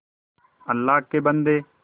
अल्लाह के बन्दे